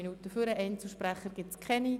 Einzelsprecher gibt es keine.